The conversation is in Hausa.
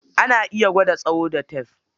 Ana iya gwada tsayo da tef.